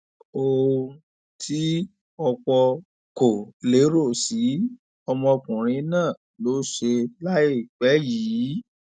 ohun tí ọpọ kò lérò sí ọmọkùnrin náà ló ṣe láìpẹ yìí